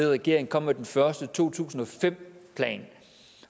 regering kom med den første to tusind og fem plan